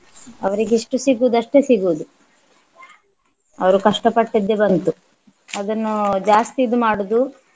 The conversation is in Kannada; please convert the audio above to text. ಅವರಿಗೆ ಎಷ್ಟು ಸಿಗುವುದು ಅಷ್ಟೇ ಸಿಗುವುದು ಅವರು ಕಷ್ಟ ಪಟ್ಟಿದ್ದೆ ಬಂತು ಅದನ್ನು ಜಾಸ್ತಿ ಇದು ಮಾಡುದು